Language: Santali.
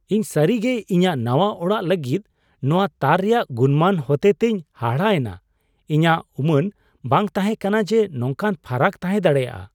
ᱤᱧ ᱥᱟᱹᱨᱤ ᱜᱮ ᱤᱧᱟᱹᱜ ᱱᱟᱶᱟ ᱚᱲᱟᱜ ᱞᱟᱹᱜᱤᱫ ᱱᱚᱶᱟ ᱛᱟᱨ ᱨᱮᱭᱟᱜ ᱜᱩᱱᱢᱟᱱ ᱦᱚᱛᱮᱛᱮᱧ ᱦᱟᱦᱟᱲᱟᱜ ᱮᱱᱟ ᱾ ᱤᱧᱟᱹᱜ ᱩᱢᱟᱹᱱ ᱵᱟᱝ ᱛᱟᱦᱮᱸ ᱠᱟᱱᱟ ᱡᱮ ᱱᱚᱝᱠᱟ ᱯᱷᱟᱨᱟᱠ ᱛᱟᱦᱮᱸ ᱫᱟᱲᱮᱭᱟᱜᱼᱟ ᱾